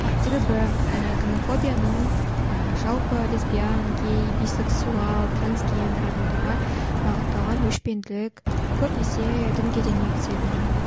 себебі і гомофобияның ііі жалпы лесбиян гей бисексуал трансгендер адамдарға бағытталған өшпенділік көбінесе дінге де негізделінеді